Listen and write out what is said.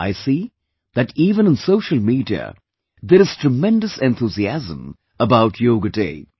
I see that even on social media, there is tremendous enthusiasm about Yoga Day